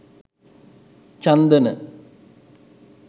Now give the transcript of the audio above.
chandana